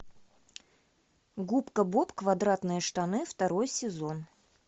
губка боб квадратные штаны второй сезон